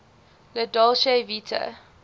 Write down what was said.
la dolce vita